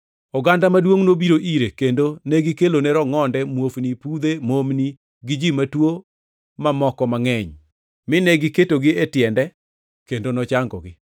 Oganda maduongʼ nobiro ire, kendo negikelone rongʼonde, muofni, pudhe, momni gi ji matuo mamoko mangʼeny, mine giketogi e tiende kendo nochangogi.